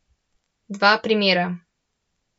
Dva primera.